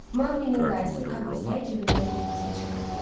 Maqninin dayısı Kap isə cibindən kompasını çıxardı.